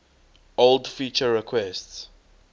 old feature requests